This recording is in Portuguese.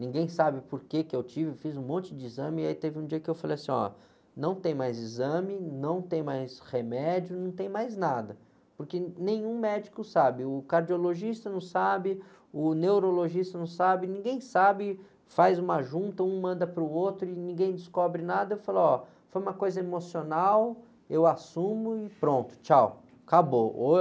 ninguém sabe porque que eu tive, fiz um monte de exame e aí teve um dia que eu falei assim, ó, não tem mais exame, não tem mais remédio, não tem mais nada, porque nenhum médico sabe, o cardiologista não sabe, o neurologista não sabe, ninguém sabe, faz uma junta, um manda para o outro e ninguém descobre nada, eu falo, ó, foi uma coisa emocional, eu assumo e pronto, tchau, acabou. Ou...